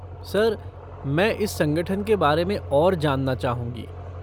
Sir, मैं इस संगठन के बारे में और जानना चाहूँगी।